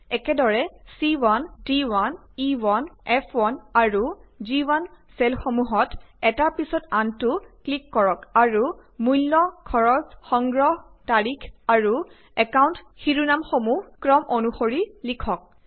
একেদৰে c1d1e1ফ1 আৰু গ1 চেলসমূহত এটাৰ পিছত আনতো ক্লিক কৰক আৰু মূল্য খৰছ সংগ্ৰহ তাৰিখ আৰু একাউন্ট শিৰোনামসমূহ ক্ৰম অনুসৰি লিখক